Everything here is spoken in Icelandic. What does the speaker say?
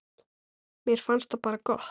Mér finnst það bara gott.